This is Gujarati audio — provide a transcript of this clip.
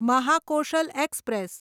મહાકોશલ એક્સપ્રેસ